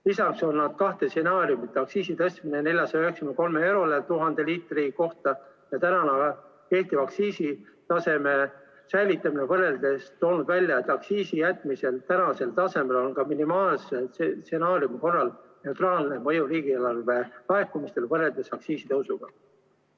Lisaks on nad kahte stsenaariumi – aktsiisi tõstmine 493 euroni 1000 liitri kohta ja kehtiva aktsiisitaseme säilitamine – võrreldes toonud välja, et aktsiisi jätmisel praegusele tasemele on ka minimaalse stsenaariumi korral neutraalne mõju riigieelarve laekumistele võrreldes aktsiisitõusuga.